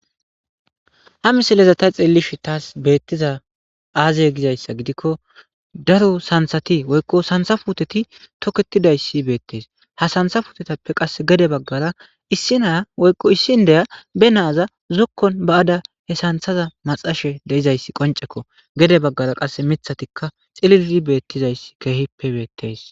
Ha misileza ta xillishin taas beettiza aazey gizayssa gidikko daro santhati woykko santha futeti toketidayssi beettees ha santha futetappe qass gede baggara issinaa woykko issin deya be naaza zokkon ba7ada he santhaza maxashe deizayssi qoncekko gede baggara qasse mithatikka xillii beettizayss keehippe beettes.